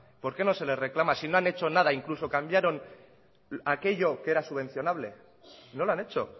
por qué no se le reclama si no han hecho nada incluso cambiaron aquello que era subvencionable no lo han hecho